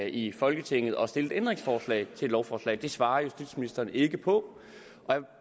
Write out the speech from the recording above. i folketinget at stille et ændringsforslag til et lovforslag det svarede justitsministeren ikke på og